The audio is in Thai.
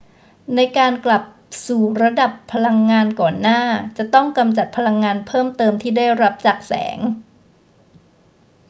ในการกลับสู่ระดับพลังงานก่อนหน้าจะต้องกำจัดพลังงานเพิ่มเติมที่ได้รับจากแสง